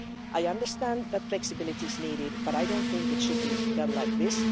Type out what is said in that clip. I understand that flexibility is needed, but I don't think it should be done like this.